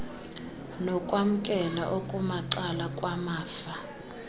nokwamkela okumacala kwamafa